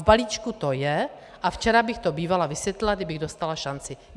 V balíčku to je a včera bych to bývala vysvětlila, kdybych dostala šanci.